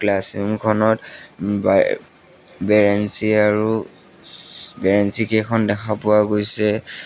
Class room খনত বাই বেঞ্চি আৰু চু বেঞ্চি কেইখন দেখা পোৱা গৈছে।